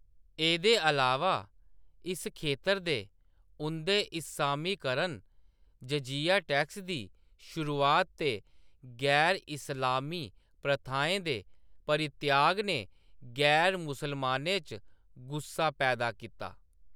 एह्दे अलावा इस खेतर दे उं'दे इस्सामीकरण, जजिया टैक्स दी शुरुआत ते गैर इस्लामी प्रथाएं दे परित्याग ने गैर मुसलमानें च गुस्सा पैदा कीता।